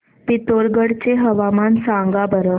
पिथोरगढ चे हवामान सांगा बरं